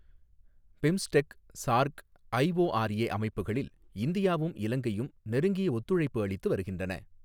BIMSTEC, SAARC, IORA அமைப்புகளில், இந்தியாவும், இலங்கையும் நெருங்கிய ஒத்துழைப்பு அளித்து வருகின்றன.